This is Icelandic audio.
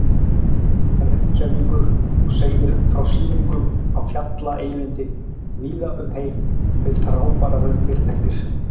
Reykjavíkur og segir frá sýningum á Fjalla-Eyvindi víða um heim við frábærar undirtektir.